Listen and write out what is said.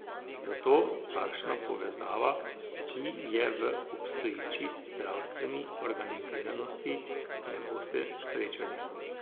Zato takšna povezava, ki je v obstoječi zdravstveni organiziranosti ne boste srečali.